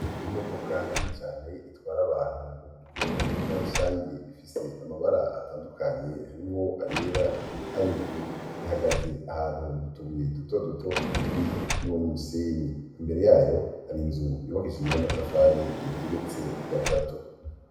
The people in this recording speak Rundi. Imodoka nini cane itwara abantu mu buryo bwa rusangi, ifise amabara atandukanye harimwo ayera nay' ubururu. Ihagaze ahantu mu tubuye duto duto turi kumwe n'umusenyi. Imbere yayo hari inzu yubakishije n' amatafari, igeretse gatatu.